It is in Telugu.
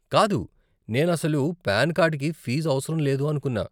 కాదు, నేను అసలు పాన్ కార్డ్కి ఫీజు అవసరం లేదు అనుకున్నా.